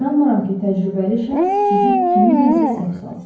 İnanmıram ki, təcrübəli şəxs sizi kiminləsə səhv salsın.